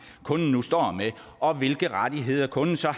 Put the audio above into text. kunden nu står med og hvilke rettigheder kunden så